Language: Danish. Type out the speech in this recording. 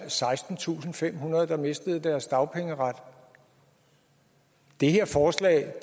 sekstentusinde og femhundrede der mistede deres dagpengeret det her forslag